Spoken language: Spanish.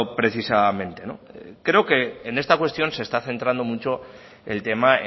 precisamente creo que en esta cuestión se está centrando mucho el tema